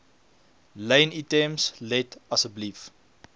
lynitems let asseblief